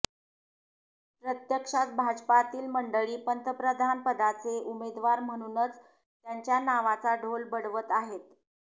प्रत्यक्षात भाजपातील मंडळी पंतप्रधानपदाचे उमेदवार म्हणूनच त्यांच्या नावाचा ढोल बडवत आहेत